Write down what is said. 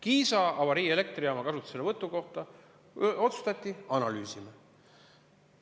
Kiisa avariielektrijaama kasutuselevõtu kohta otsustati: analüüsime.